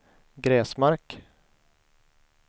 Gräsmark